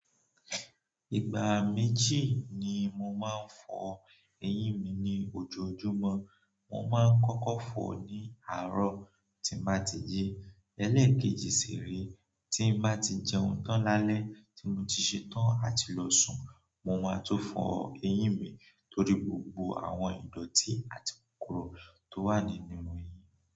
Ìgbà méjì ni mo máa ń fọ eyín mi ní ojoojúmọ́, mo máa ń kọ́kọ́ fọ̀ ní àárọ̀ tí n ba ti yí, ẹlẹ́ẹ̀kejì sì ré tí n bá ti jẹun tán lálẹ́ tí mo ti ṣetán àti lọ sùn, mo máa tun fọ eyín mi torí gbogbo àwọn ìdọ̀tí àti kokoro tó wà nínú eyín.